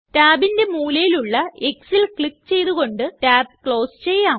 tabന്റെ മൂലയിലുള്ള xല് ക്ലിക്ക് ചെയ്തു കൊണ്ട് tab ക്ലോസ് ചെയ്യാം